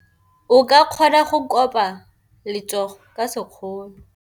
O ka kgona go koba letsogo ka sekgono.